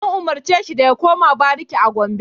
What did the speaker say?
An umarce shi da ya koma bariki a Gombe!